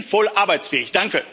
Denn die sind voll arbeitsfähig.